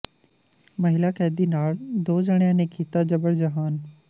ਮਹਿਲਾ ਕੈਦੀ ਨਾਲ ਦੋ ਜਾਣਿਆਂ ਨੇ ਕੀਤਾ ਜਬਰ ਜਨਾਹ